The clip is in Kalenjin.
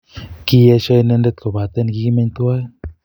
kiyesho inendet kopaten kigimeny tuan.